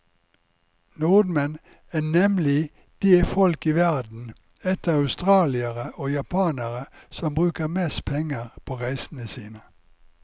Nordmenn er nemlig det folk i verden, etter australiere og japanere, som bruker mest penger på reisene sine.